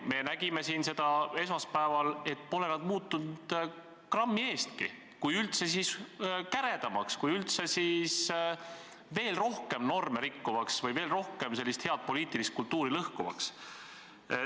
Me nägime siin esmaspäeval, et pole nad muutunud grammi võrragi – kui üldse, siis käredamaks, kui üldse, siis veel rohkem norme rikkuvaks või head poliitilist kultuuri lõhkuvaks.